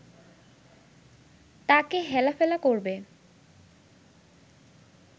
তাকে হেলাফেলা করবে